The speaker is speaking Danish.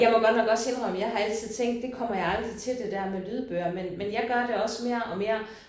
Jeg må godt nok også indrømme jeg har altid tænkt det kommer jeg aldrig til det der med lydbøger men men jeg gør det også mere og mere